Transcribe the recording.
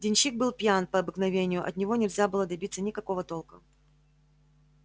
денщик был пьян по обыкновению от него нельзя было добиться никакого толка